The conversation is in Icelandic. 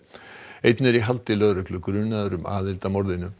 einn er í haldi lögreglu grunaður um aðild að morðinu